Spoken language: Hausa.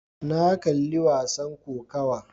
Na kalli wasan kokawa.